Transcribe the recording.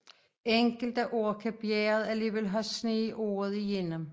Enkelte år kan bjerget alligevel have sne året gennem